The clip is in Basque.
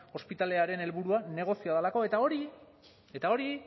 ospitalearen helburua negozioa delako eta hori eta hori